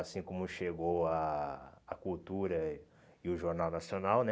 Assim como chegou a a cultura e o Jornal Nacional, né?